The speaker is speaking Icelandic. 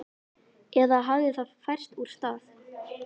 Eða hafði það færst úr stað?